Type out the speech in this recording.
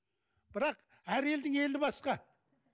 бірақ әр елдің елі басқа